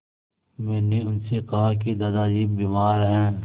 मैंने उनसे कहा कि दादाजी बीमार हैं